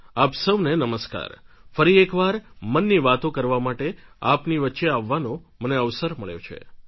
આપ સૌને નમસ્કાર ફરી એક વાર મનની વાતો કરવા માટે આપની વચ્ચે આવવાનો મને અવસર મળ્યો છે